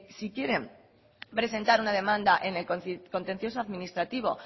si quieren presentar una demanda en el contencioso administrativo